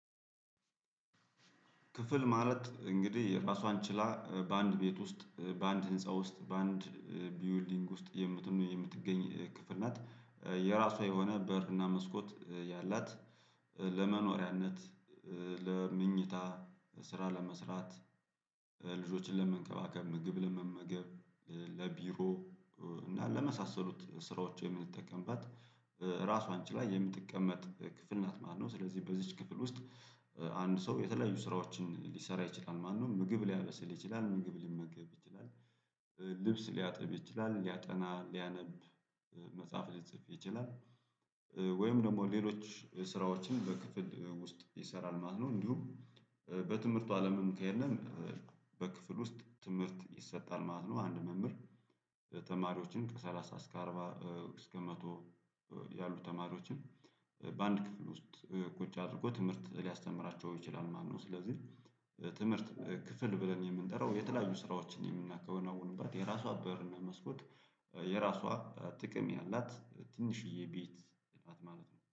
ክፍል ማለት እንግዲህ የራሷን ችላ በአንድ ቤት ውስጥ በአንድ ህንፃ ውስጥ በአንድ ቢውልዲንግ ውስጥ የምትም የምትገኝ ክፍል ናት። የራሷ የሆነ በር እና መስኮት ያላት ለመኖሪያነት ለመኝታ ስራ ለመስራት ልጆችን ለመንከባከብ፣ ምግብ ለመመገብ፣ ለቢሮ እና ለመሳሰሉት ስራዎች የምንጠቀምበት ራሷን ችላ የምትቀመጥ ክፍል ናት ማለት ነው። ስለዚህ በዚህች ክፍል ውስጥ አንድ ሰው የተለያዩ ስራዎችን ሊሰራ ይችላል ማለት ነው። ምግብ ሊያበስል ይችላል ምግብ ሊመግብ ይችላል ልብስ ሊያጥብ ይችላል ሊያጠና፣ ሊያነብ፣ መጽሐፍ ሊጽፍ ይችላል ወይም ደግሞ ሌሎች ስራዎችን በክፍል ውስጥ ይሰራል ማለት ነው እንዲሁም በትምህርቱ አለምም ከሄድንም በክፍል ውስጥ ትምህርት ይሰጣል ማለት ነው። አንድ መምህር ተማሪዎችን ከሰላሳ እስከ አርባ እስከ መቶ ያሉ ተማሪዎችን በአንድ ክፍል ውስጥ ቁጭ አድርጎ ትምህርት ሊያስተምራቸው ይችላል ማለት ነው። ስለዚህ ትምህርት ክፍል ብለን የምንጠራው የተለያዩ ስራዎችን የምናከናውንበት የራሷ በርና መስኮት የራሷ ጥቅም ያላት ትንሽዬ ቤት ናት ማለት ነው።